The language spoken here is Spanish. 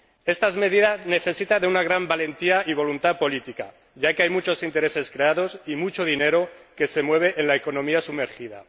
Estas medidas necesitan de una gran valentía y voluntad política, ya que hay muchos intereses creados y mucho dinero que se mueve en la economía sumergida.